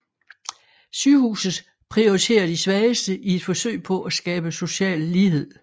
Sygehuset prioriterer de svageste i et forsøg på at skabe social lighed